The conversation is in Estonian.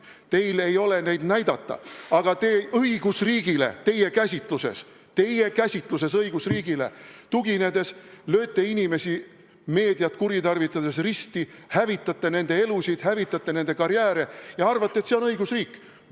Teil ei ole neid ette näidata, aga tuginedes õigusriigile teie käsitluses, lööte te inimesi meediat kuritarvitades risti, hävitate nende elu, hävitate nende karjääri ja arvate, et see on õigusriik.